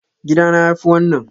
Gida na yafi wannan.